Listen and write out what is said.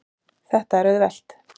Þetta er auðvelt.